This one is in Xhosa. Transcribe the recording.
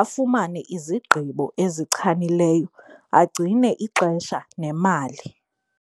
afumane izigqibo ezichanileyo, agcine ixesha nemali.